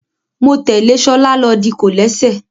Mo tẹ́lẹ̀ ṣọlá lọ di kòlẹ́sẹ̀